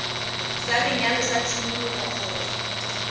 sa lenyalo sa tshimologo kgotsa